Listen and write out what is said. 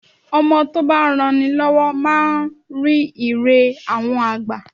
Ọmọ tó bá ń ran ni lọ́wọ́ máa ń rí Ire àwọn àgbà.